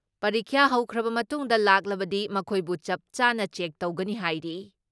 ꯄꯔꯤꯈ꯭ꯌꯥ ꯍꯧꯈ꯭ꯔꯕ ꯃꯇꯨꯡꯗ ꯂꯥꯛꯂꯕꯗꯤ ꯃꯈꯣꯏꯕꯨ ꯆꯞ ꯆꯥꯅ ꯆ꯭ꯌꯦꯛ ꯇꯧꯒꯅꯤ ꯍꯥꯏꯔꯤ ꯫